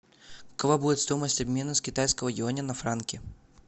какова будет стоимость обмена с китайского юаня на франки